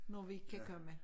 Når vi kan komme